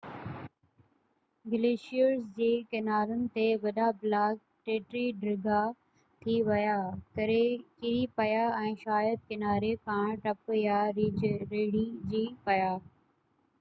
glaciers جي ڪنارن تي وڏا بلاڪ ٽٽي ڍرا ٿي ويا ڪري پيا ۽ شايد ڪناري کان ٽپ يا ريڙجي پيا